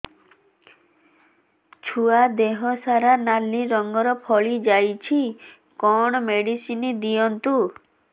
ଛୁଆ ଦେହ ସାରା ନାଲି ରଙ୍ଗର ଫଳି ଯାଇଛି କଣ ମେଡିସିନ ଦିଅନ୍ତୁ